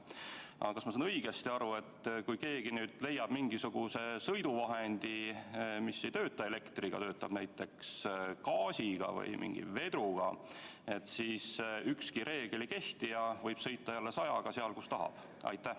Aga kas ma saan õigesti aru, et kui keegi leiab mingisuguse sõiduvahendi, mis ei töötagi elektriga, vaid töötab näiteks gaasi jõul või mingi vedru abil, siis ükski reegel ei kehti ja ta võib sõita jälle sajaga seal, kus tahab?